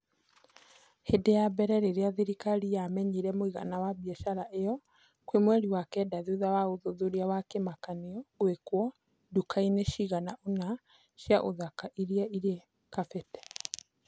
Hĩndĩ ya mbere rĩrĩa thirikari yamenyire mũigana wa biacara ĩyo, kwĩ mweri wakenda thutha wa ũthuthuria wa kĩmakanio gwĩkwo nduka-inĩ cigana ona cia ũthaka ũrĩa rĩa kabete